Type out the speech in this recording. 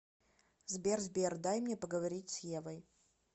сбер сбер дай мне поговорить с евой